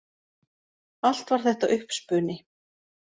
Allt var þetta uppspuni